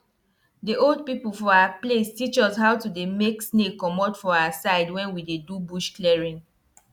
for where dem dey farm maize e dey good make water no dey move anyhow so that the maize go get plenty nutrients.